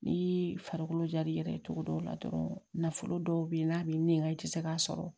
Ni farikolo jar'i yɛrɛ ye cogo dɔw la dɔrɔn nafolo dɔw bɛ yen n'a bɛ nɛn i tɛ se k'a sɔrɔ